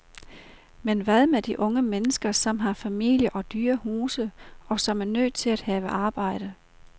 Men hvad med de unge mennesker, som har familier og dyre huse, og som er nødt til at have arbejde.